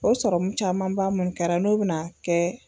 O sɔrɔmu camanba mun kɛra n'o bɛna a kɛ.